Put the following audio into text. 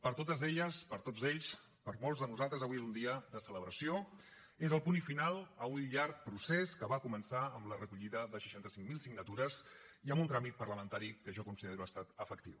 per a totes elles per a tots ells per a molts de nosaltres avui és un dia de celebració és el punt final a un llarg procés que va començar amb la recollida de seixanta cinc mil signatures i amb un tràmit parlamentari que jo considero que ha estat efectiu